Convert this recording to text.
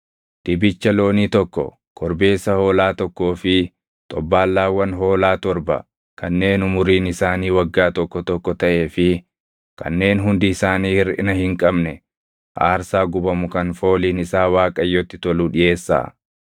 Dibicha loonii tokko, korbeessa hoolaa tokkoo fi xobbaallaawwan hoolaa torba kanneen umuriin isaanii waggaa tokko tokko taʼee fi kanneen hundi isaanii hirʼina hin qabne aarsaa gubamu kan fooliin isaa Waaqayyotti tolu dhiʼeessaa.